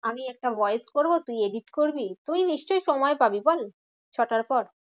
আমি একটা voice করবো। তুই edit করবি। তুই নিশ্চই সময় পাবি বল? ছটার পর?